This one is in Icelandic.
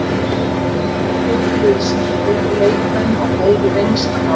Það er betri liðsheild, betri leikmenn og meiri reynsla hjá okkur.